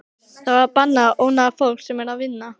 Það er bannað að ónáða fólk sem er að vinna.